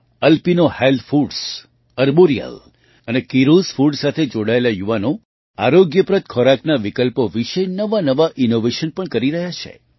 Alpino health foods Arboreal અને કિરોસ Foodસાથે જોડાયેલા યુવાનો આરોગ્યપ્રદ ખોરાકના વિકલ્પો વિશે નવાંનવાં ઇનૉવેશન પણ કરી રહ્યા છે